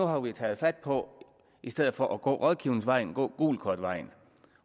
har vi taget fat på i stedet for at gå rådgivningsvejen at gå gult kort vejen